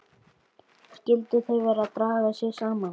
Skyldu þau vera að draga sig saman?